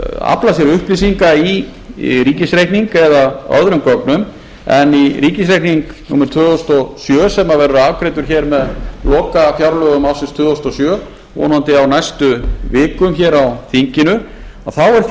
afla sér upplýsinga í ríkisreikning eða öðrum gögnum en í ríkisreikningi númer tvö þúsund og sjö sem verður afgreiddur hér með lokafjárlögum árinu tvö þúsund og sjö vonandi á næstu vikum hér á þinginu þá